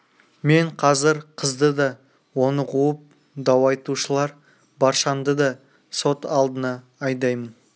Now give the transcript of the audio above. мен қазір қызды да оны қуып дау айтушылар баршаңды да сот алдына айдаймын